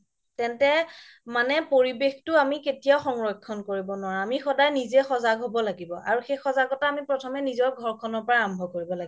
তেন্তে মানে পৰিৱেশতো আমি কেতিয়াও সংৰক্ষণ কৰিব নোৱাৰু আমি সদায় নিজে সজাগ হ'ব লাগিব আমি সেই সজাগতা সদায় আমি ঘৰখনৰ পৰাই আৰম্ভ কৰিব লাগে